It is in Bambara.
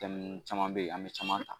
Daminɛ caman bɛ yen an bɛ caman ta